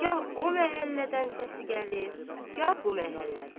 Gah o məhəllədən səsi gəlir, gah bu məhəllədən.